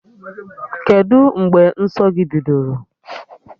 Kedụ mgbe nsọ gị bidoro?